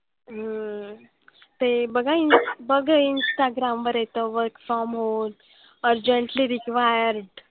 हम्म ते बघा ins instagram वर येतं work from home. Urgently required.